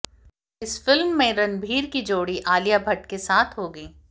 इस फिल्म में रणबीर की जोड़ी आलिया भट्ट के साथ होगी